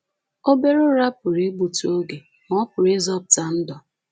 Obere ụra pụrụ igbutụ oge, ma ọ pụrụ ịzọpụta ndụ